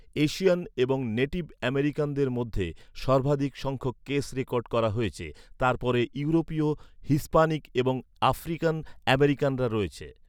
Asian এবং native আমেরিকানদের মধ্যে সর্বাধিক সংখ্যক কেস রেকর্ড করা হয়েছে, তারপরে ইউরোপীয়, হিস্পানিক এবং আফ্রিকান আমেরিকানরা রয়েছে।